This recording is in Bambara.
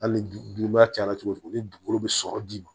Hali ni duba cayara cogo cogo ni dugukolo bɛ sɔrɔ d'i ma